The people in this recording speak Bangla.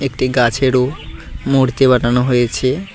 একটি গাছেরও মূর্তি বানানো হয়েছে।